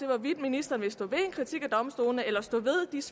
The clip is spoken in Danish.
hvorvidt ministeren vil stå ved en kritik af domstolene eller stå